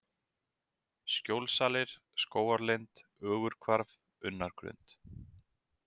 Skjólsalir, Skógarlind, Ögurhvarf, Unnargrund